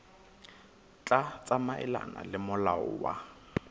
tla tsamaelana le molao wa